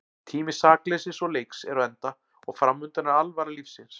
Tími sakleysis og leiks er á enda og framundan er alvara lífsins.